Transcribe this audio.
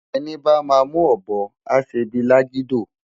Eni bá má mú òbò á sé bi lágidó